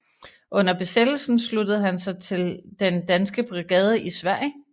Under Besættelsen sluttede han sig til Den Danske Brigade i Sverige